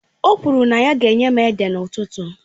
O kwuru na ya ga-enye m ede n'ụtụtụ